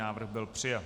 Návrh byl přijat.